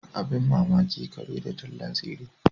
Abin mamaki kare da tallan tsire.